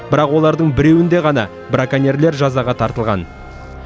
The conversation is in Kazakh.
бірақ олардың біреуінде ғана браконьерлер жазаға тартылған